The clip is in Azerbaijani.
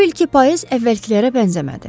Bu ilki payız əvvəlkilərə bənzəmədi.